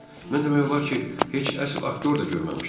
Mən demək olar ki, heç əsl aktyor da görməmişəm.